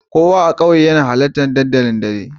Kowa na ƙauye yana halartar dandali daddare